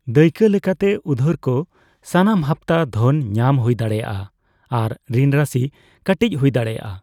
ᱫᱟᱹᱭᱠᱟᱹ ᱞᱮᱠᱟ ᱛᱮ, ᱩᱫᱷᱟᱹᱨᱠᱚ ᱥᱟᱱᱟᱢ ᱦᱟᱯᱛᱟ ᱫᱷᱚᱱ ᱧᱟᱢ ᱦᱩᱭ ᱫᱟᱲᱽᱮᱭᱟᱜᱼᱟ, ᱟᱨ ᱨᱤᱱ ᱨᱟᱥᱤ ᱠᱟᱹᱴᱤᱡ ᱦᱩᱭ ᱫᱟᱲᱮᱭᱟᱜᱼᱟ ᱾